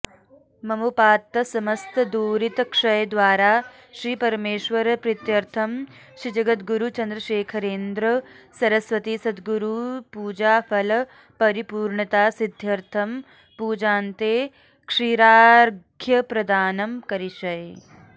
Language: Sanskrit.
ममोपात्त समस्त दुरितक्षयद्वारा श्रीपरमेश्वरप्रीत्यर्थं श्रीजगद्गुरु चन्द्रशेखरेन्द्र सरस्वती सद्गुरुपूजाफल परिपूर्णता सिद्ध्यर्थं पूजान्ते क्षीरार्घ्यप्रदानं करिष्ये